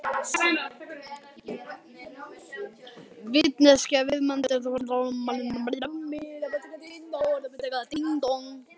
Vitneskja viðsemjenda skiptir engu máli í þessu sambandi.